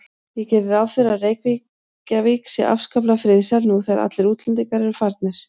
Ég geri ráð fyrir að Reykjavík sé afskaplega friðsæl nú þegar allir útlendingar eru farnir.